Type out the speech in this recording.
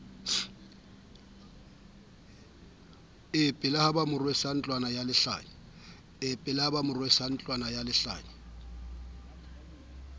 epela ba mo rwesa ntlwanalehlanya